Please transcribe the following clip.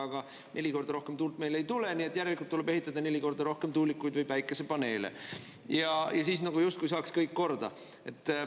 Aga neli korda rohkem tuult meil ei tule, nii et järelikult tuleb ehitada neli korda rohkem tuulikuid või päikesepaneele ja siis nagu justkui saaks kõik korda.